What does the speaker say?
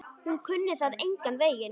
Hún kunni það engan veginn.